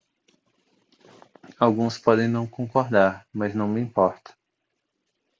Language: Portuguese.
alguns podem não concordar mas não me importa